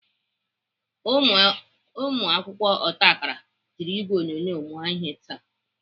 Ụmụakwụkwọ otakara ji ìgwè onyonyo mụọ ihe taa.